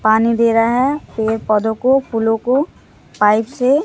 पानी दे रहा है पेड़ पौधों को फूलों को पाइप से--